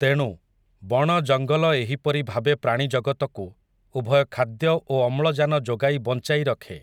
ତେଣୁ, ବଣ ଜଙ୍ଗଲ ଏହିପରି ଭାବେ ପ୍ରାଣୀ ଜଗତକୁ, ଉଭୟ ଖାଦ୍ୟ ଓ ଅମ୍ଳଜାନ ଯୋଗାଇ ବଞ୍ଚାଇ ରଖେ ।